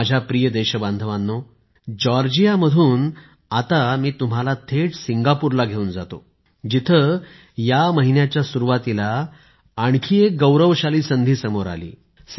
माझ्या प्रिय देश बांधवांनो जॉर्जिया मधून आता मी तुम्हाला थेट सिंगापूरला घेऊन जातो जिथे या महिन्याच्या सुरुवातीला आणखी एक गौरवशाली संधी समोर आली